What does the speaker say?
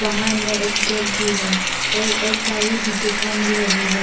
बाहर में एक गेट भी है और एक गाड़ी भी दिखाई मिल रही है।